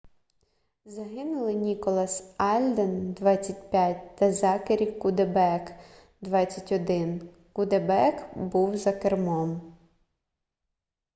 загинули ніколас альден 25 та зекері куддебек 21 куддебек був за кермом